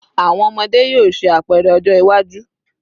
Awọn ọmọde yoo ṣe apẹrẹ ọjọ iwaju